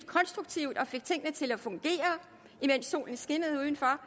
konstruktivt og fik tingene til at fungere imens solen skinnede udenfor